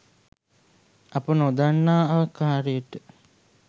අප නොදන්නා ආකාරයට